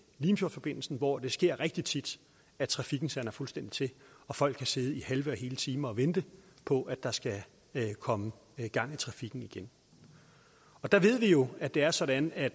limfjordsforbindelsen hvor det sker rigtig tit at trafikken sander fuldstændig til og folk kan sidde i halve og hele timer og vente på at der skal komme gang i trafikken igen der ved vi jo at det er sådan at